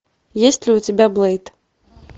есть ли у тебя блэйд